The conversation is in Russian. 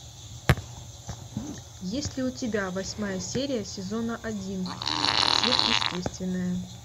есть ли у тебя восьмая серия сезона один сверхъестественное